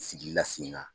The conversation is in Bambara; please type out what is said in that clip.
Sigi la sen kan